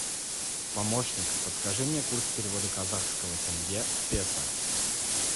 помощник подскажи мне курс перевода казахского тенге в песо